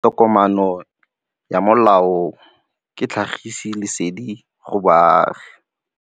Tokomane ya molao ke tlhagisi lesedi go baagi.